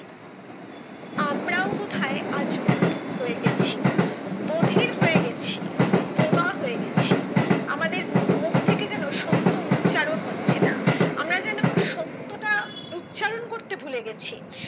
আমরা ও বোধহয় যান মুখ হয়ে গেছি বধির হয়ে গেছি বোবা হয়ে গেছি আমাদের মু মুখ থেকে যেন সত্য উচ্চারণ হচ্ছে না আমরা যেন সত্যটা উচ্চারণ করতে ভুলেগেছি।